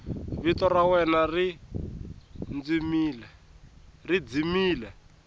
vito ra wena ri dzimile